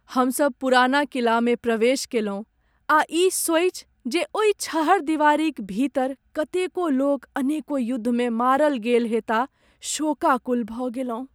हम सभ 'पुरना किला'मे प्रवेश कएलहुँ आ ई सोचि जे ओहि छहरदीवारीक भीतर कतेको लोक अनेको युद्धमे मारल गेल होयताह, शोकाकुल भऽ गेलहुँ।